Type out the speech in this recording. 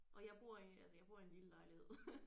Og jeg bor i altså jeg bor i en lille lejlighed